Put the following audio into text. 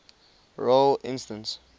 role instance